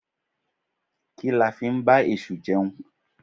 Kí la ń fí ba esú jeún?